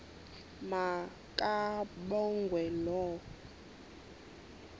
ma kabongwe low